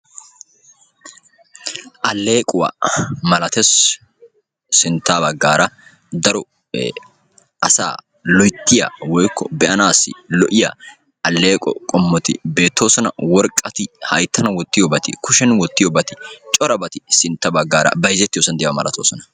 Aleequwa malaatees sintta baggaara daro asaa loyttiya woykko be'anassi lo"iyaa aleeqo qommoti beettoosona. Worqqati hayttan wottiyoobati kushiyaan wottiyoobati corabati sintta baggaara bayzzetiyyoosna de'iyaaba malatoosona.